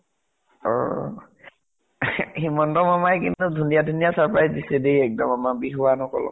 অ । হিমন্ত শৰ্মায়ে কিন্তু ধুনীয়া ধুনীয়া surprise দিছে দেই একদম আমাৰ বিহুৱান সকলক ।